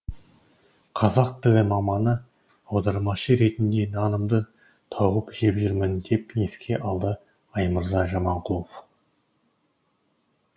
қазақ тілі маманы аудармашы ретінде нанымды тауып жеп жүрмін деп еске алды аймырза жаманқұлов